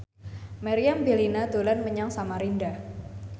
Meriam Bellina dolan menyang Samarinda